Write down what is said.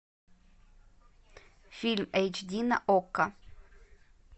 фильм эйч ди на окко